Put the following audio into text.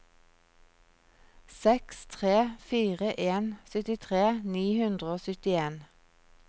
seks tre fire en syttitre ni hundre og syttien